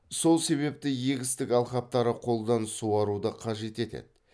сол себепті егістік алқаптары қолдан суаруды қажет етеді